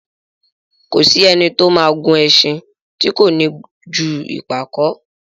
Kò sí ẹni tí ó ma gùn ẹṣin tí kò ní ju ìpàkó